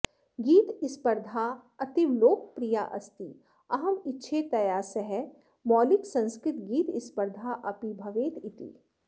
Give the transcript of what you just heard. गीतस्पर्धा अतीवलोकप्रिया अस्ति अहम् इच्छे तया सह मौलिकसंस्कृतगीतस्पर्धा अपि भवेत् इति